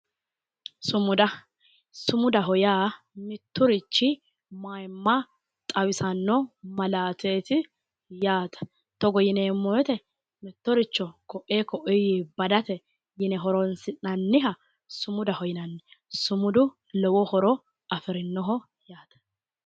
sumudaho yaa mitturichi mayimma xawisannoho malaateetti yaate togonyineemmo weete mittoricho xawisannoho yaate